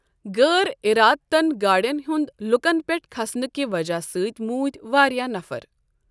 غٲر اِرادتن گاڑٮ۪ن ہُنٛد لوٗکن پٮ۪ٹھ كھسنہٕ کہِ وجہ سۭتۍ موٗد واریاہ نَفر۔